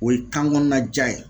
O ye kan kɔnɔna ja ye